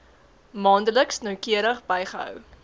maandeliks noukeurig bygehou